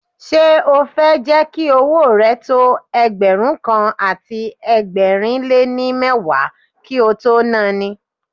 Ṣé o fẹ́ jẹ́ kí owó rẹ tó Ẹgbẹ̀rún kan àti ẹgbẹ̀rin lé ní mẹ́wàá kí o tó na ni?